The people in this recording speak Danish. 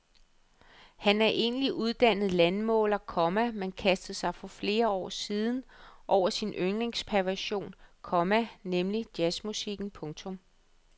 Han er egentlig uddannet landmåler, komma men kastede sig for flere år siden over sin yndlingspassion, komma nemlig jazzmusikken. punktum